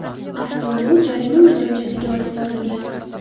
Avtoulov jarima maydonchasiga olib borilgan.